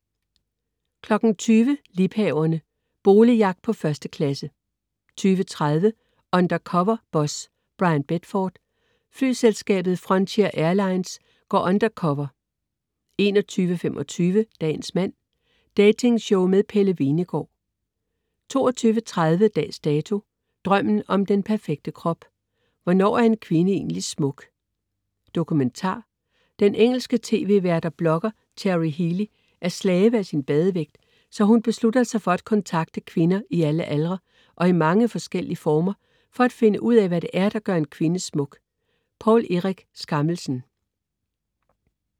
20.00 Liebhaverne. Boligjagt på 1. klasse 20.35 Undercover Boss. Bryan Bedford , flyselskabet Frontier Airlines går undercover 21.25 Dagens mand. Datingshow med Pelle Hvenegaard 22.30 Dags Dato: Drømmen om den perfekte krop. Hvornår er en kvinde egentlig smuk? Dokumentar. Den engelske tv-vært og blogger Cherry Healey er slave af sin badevægt, så hun beslutter sig for at kontakte kvinder i alle aldre og i mange forskellige former for at finde ud af, hvad det er, der gør en kvinde smuk. Poul Erik Skammelsen